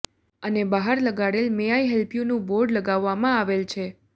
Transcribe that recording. અને બહાર લગાડેલ મે આઇ હેલ્પ યુનું બોર્ડ લગાવવામાં આવેલ છે